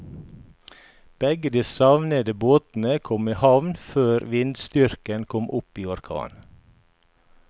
Begge de savnede båtene kom i havn før vindstyrken kom opp i orkan.